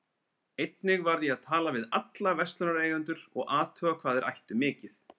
Ég er búin að stara og stara síðan Þórunn bað mig um að fá störuna.